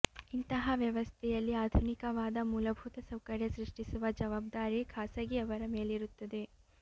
ಇಂತಹ ವ್ಯವಸ್ಥೆಯಲ್ಲಿ ಆಧುನಿಕವಾದ ಮೂಲಭೂತ ಸೌಕರ್ಯ ಸೃಷ್ಟಿಸುವ ಜವಾಬ್ದಾರಿ ಖಾಸಗಿಯವರ ಮೇಲಿರುತ್ತದೆ